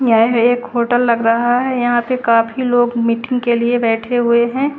यह एक होटल लग रहा है यहां पे काफी लोग मीटिंग के लिए बैठे हुए है।